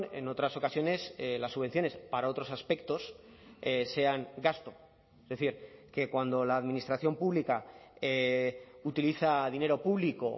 en otras ocasiones las subvenciones para otros aspectos sean gasto es decir que cuando la administración pública utiliza dinero público